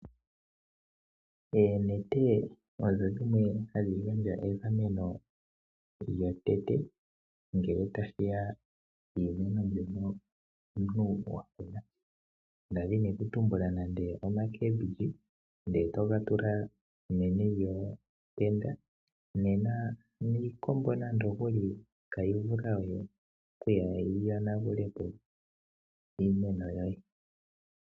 Oonete odho dhimwe hadhi gandja egameno lyotango ngele tashiya kiimeno mbyoka omuntu wakuna, ngele owa kuna nande omboga ndele toyi tula meni lyonete nena niikombo itayi vulu oku yonagulapo iimeno yoye.